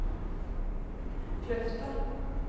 Kløfta